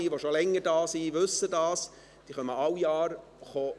Wer schon länger im Rat ist weiss, dass sie jedes Jahr hierherkommen.